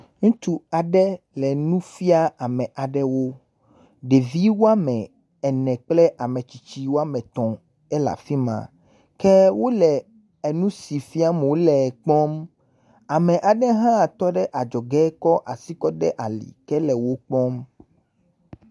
Ŋutsu aɖe le nu fia ame aɖewo. Ɖevi woa me ene kple ametsitsi woa me tɔ̃ ele afi ma. Ke wole enu si fiam wole kpɔm ame aɖe hã tɔ ɖe adzɔge kɔ asi kɔ de ali ke le wo kpɔm.